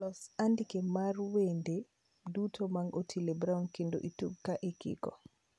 Los andike mar wende duto mag otile brown kendo itug ka ikiko